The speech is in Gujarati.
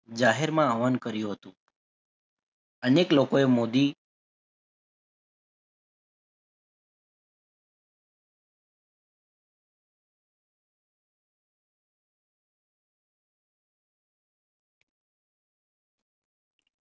જાહેરમાં આહવાન કર્યું હતું અનેક લોકો એ મોદી